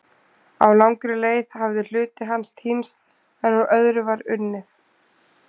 Á langri leið hafði hluti hans týnst en úr öðru var unnið.